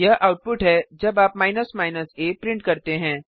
यह आउटपुट है जब आप a प्रिंट करते हैं